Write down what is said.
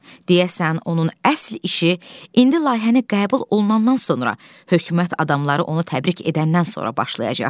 Deyəsən, onun əsl işi indi layihəni qəbul olunandan sonra hökumət adamları onu təbrik edəndən sonra başlayacaqdı.